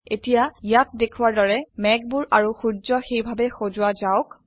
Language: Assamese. এতিয়া ইয়াত দেখাৱাৰ দৰে মেঘবোৰ আৰু সূৰ্য সেইভাবে সজোৱা যাওক